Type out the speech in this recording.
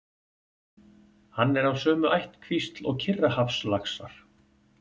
Hann er af sömu ættkvísl og Kyrrahafslaxar.